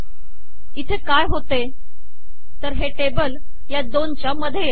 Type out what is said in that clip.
इथे काय होते तर हे टेबल या दोनच्या मध्ये येते